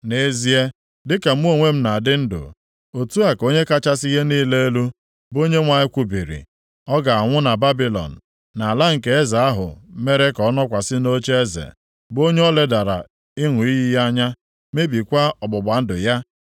“ ‘Nʼezie, dịka mụ onwe m na-adị ndụ, otu a ka Onye kachasị ihe niile elu, bụ Onyenwe anyị kwubiri, ọ ga-anwụ na Babilọn, nʼala nke eze ahụ mere ka ọ nọkwasị nʼocheeze, bụ onye o ledara ịṅụ iyi ya anya mebikwaa ọgbụgba ndụ ya.